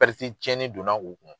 tiɲɛni donna an kun